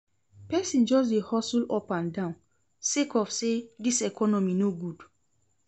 Pesin just dey hustle up and down sake of sey dis economy no good.